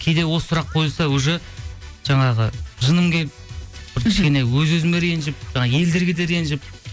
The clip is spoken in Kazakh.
кейде осы сұрақ қойылса уже жаңағы жыным келіп бір кішкене өз өзіңе ренжіп жаңа елдерге де ренжіп